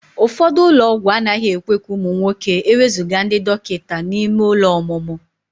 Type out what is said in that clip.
Ụfọdụ ụlọ ọgwụ anaghị ekwe ka ụmụ nwoke ewezuga ndị dọkịta n'ime ụlọ ọmụmụ.